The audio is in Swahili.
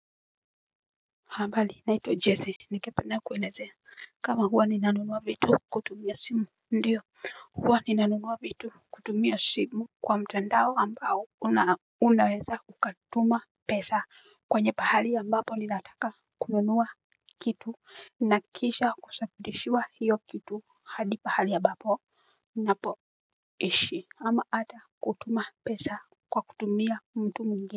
Habali naitwa jeze ningependa kuelezea kama huwa ni nanunua vitu kutumia simu. Ndiyo huwa ni nanunua vitu kutumia simu kwa mtandao ambao unaweza ukatuma pesa kwenye pahali ambapo ni nataka kununua kitu. Na kisha kusakudishiwa hiyo kitu hadi pahali ya bapo na poishi ama ata kutuma pesa kwa kutumia mtu mingi.